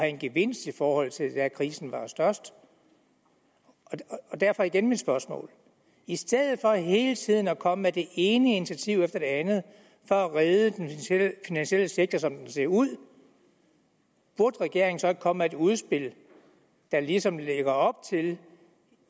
en gevinst i forhold til da krisen var størst derfor igen mit spørgsmål i stedet for hele tiden at komme med det ene initiativ efter det andet for at redde den finansielle sektor som den ser ud burde regeringen så ikke komme med et udspil der ligesom lagde op til